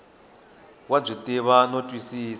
wa byi tiva no twisisa